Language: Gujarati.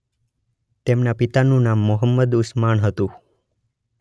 તેમના પિતાનું નામ મોહમ્મદ ઉસ્માન હતું.